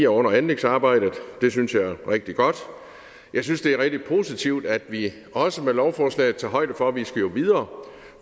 under anlægsarbejdet det synes jeg er rigtig godt jeg synes det er rigtig positivt at vi også med lovforslaget tager højde for at vi jo skal videre